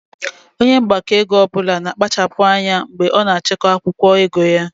Onye mgbakọego ọbụla na kpachapu anya mgbe ọ na achiko akwụkwọ ego ya